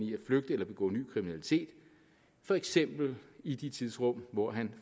i at flygte eller begå ny kriminalitet for eksempel i det tidsrum hvor den